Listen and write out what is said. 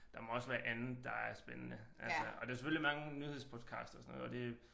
Der må også været andet der er spændende altså og der er selvfølgelig mange nyhedspodcast og sådan noget og det